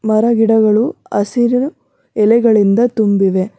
ಮರ ಗಿಡಗಳು ಅಸಿರಿನ ಎಲೆಗಲಿಂದ ತುಂಬಿವೆ.